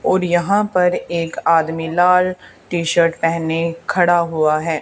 और यहां पर एक आदमी लाल टी_शर्ट पेहने खड़ा हुआ हैं।